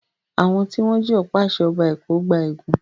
Àwọn tí wọ́n jí ọ̀pá-àṣẹ Ọba Èkó gba ègún.